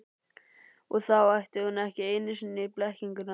Og þá ætti hún ekki einu sinni blekkinguna.